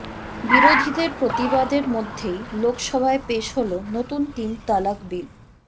বিরোধীদের প্রতিবাদের মধ্যেই লোকসভায় পেশ হলো নতুন তিন তালাক বিল